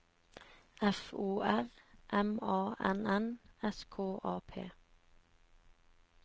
F O R M A N N S K A P